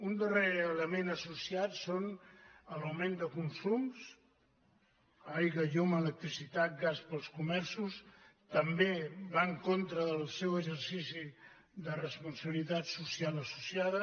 un darrer element associat és l’augment de consums aigua llum electricitat gas per als comerços també va en contra del seu exercici de responsabilitat social associada